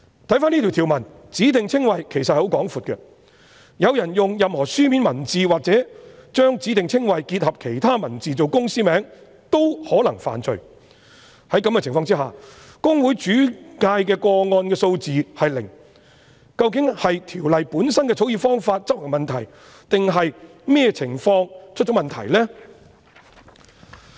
根據這項條文，"指定稱謂"涵義其實十分廣闊，有人用任何書面文字或將指定稱謂結合其他文字來作為公司名稱均可能犯罪，在這種情況下，公會轉介的個案數字是零，究竟是《條例》本身的草擬方法有問題，或是執行的問題，或是哪裏出現問題？